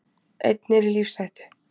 Einn er í lífshættu